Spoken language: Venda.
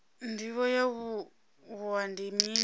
ndivho ya wua ndi mini